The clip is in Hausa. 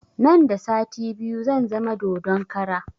Nan da sati biyu zan zama dodon kara